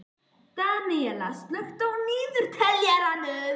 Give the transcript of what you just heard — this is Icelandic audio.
Daníella, slökktu á niðurteljaranum.